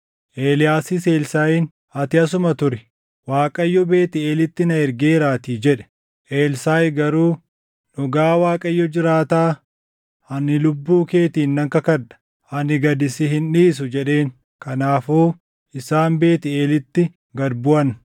Eeliyaasis Elsaaʼiin, “Ati asuma turi; Waaqayyo Beetʼeelitti na ergeeraatii” jedhe. Elsaaʼi garuu, “Dhugaa Waaqayyo jiraataa, ani lubbuu keetiin nan kakadha; ani gad si hin dhiisu” jedheen. Kanaafuu isaan Beetʼeelitti gad buʼan.